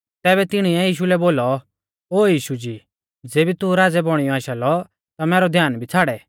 तैबै तिणीऐ यीशु लै बोलौ ओ यीशु जी ज़ेबी तू राज़ै बौणीयौ आशा लौ ता मैरौ ध्यान भी छ़ाड़ै